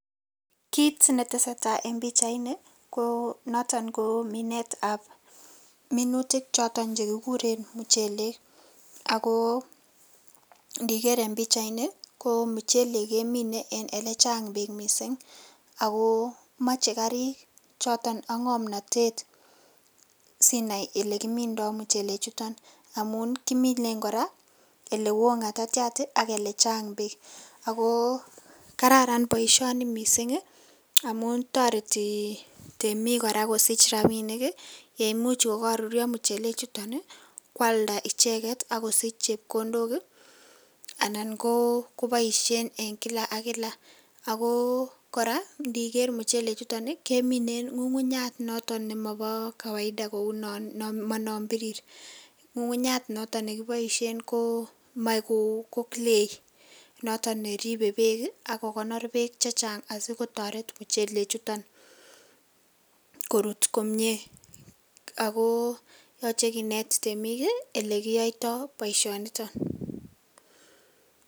Kiit netesetaa en pichaini ko noton ko minetab minutik choton chekikuren muchelek ak ko ndiker en pichaini ko muchelek kemine en elechang beek mising, ak ko moche karik choton ak ng'omnotet sinaii elekimindo muchele chuton amun kimine kora elewoo ngatatiat ak elechang beek ak ko kararan boishoni mising amun toreti temiik kora kosich rabinik yeimuch ko kokoruryo muchele chuton kwalda icheket ak kosich chepkondok anan ko koboishen en kila ak kila, ak ko kora indiker muchele chuton kemine en ng'ung'unyat noton nemobo kawaida kou non monon birir, ng'ung'unyat noton nekiboishen komoe ko clay noton neribe beek ak kokonor beek chechang asikotoret muchele chuton korut komie ak ko yoche kineet temik elekiyoito boishoniton.